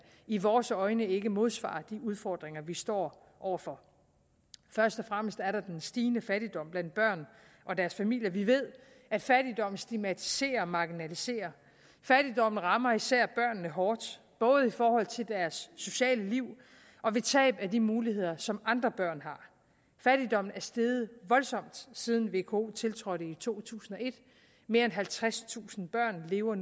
i vores øjne ikke modsvarer de udfordringer vi står over for først og fremmest er der den stigende fattigdom blandt børn og deres familier vi ved at fattigdom stigmatiserer og marginaliserer fattigdommen rammer især børnene hårdt både i forhold til deres sociale liv og ved tab af de muligheder som andre børn har fattigdommen er steget voldsomt siden vko tiltrådte i to tusind og et mere end halvtredstusind børn lever